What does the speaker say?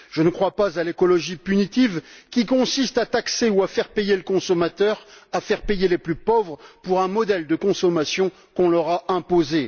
Je ne crois pas à l'écologie punitive, qui consiste à taxer ou à faire payer le consommateur, à faire payer les plus pauvres, pour un modèle de consommation qu'on leur a imposé.